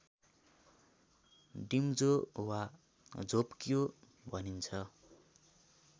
डिम्जो वा झोप्क्यो भनिन्छ